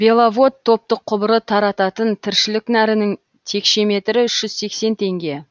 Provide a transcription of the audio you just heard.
беловод топтық құбыры тарататын тіршілік нәрінің текше метрі үш жүз сексен теңге